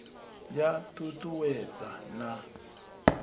ya t ut uwedza na